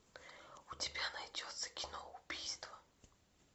у тебя найдется кино убийство